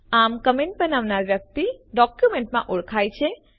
આમ કમેન્ટને બનાવનાર વ્યક્તિ ડોક્યુમેન્ટમાં ઓળખાયેલ છે